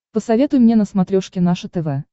посоветуй мне на смотрешке наше тв